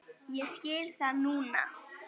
Ég skil það núna.